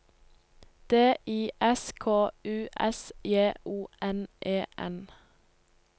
D I S K U S J O N E N